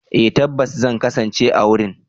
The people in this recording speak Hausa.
Eh tabbas zan kasance a wurin.